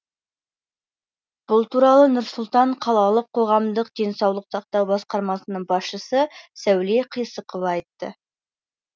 бұл туралы нұр сұлтан қалалық қоғамдық денсаулық сақтау басқармасының басшысы сәуле қисықова айтты